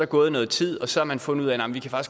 gået noget tid og så har man fundet ud af